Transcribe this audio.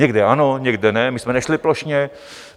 Někde ano, někde ne, my jsme nešli plošně.